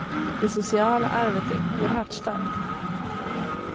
Det sociala arvet är oerhört starkt.